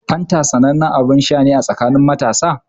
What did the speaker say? Fanta sanannen abin sha ne a tsakanin matasa.